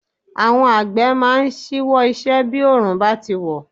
Àwọn Àgbẹ̀ máa ń ṣíwọ́ iṣẹ́ bí òórùn bá ti wọ̀.